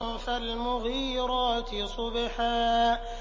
فَالْمُغِيرَاتِ صُبْحًا